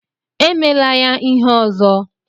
Emela ya ihe ọzọ!